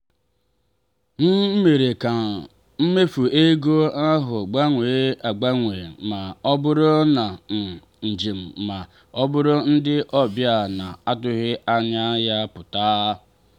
m mere ka mmefu ego ahụ gbanwee agbanwe ma ọ bụrụ na um njem ma ọ bụ ndị ọbịa na-atụghị anya ya pụta.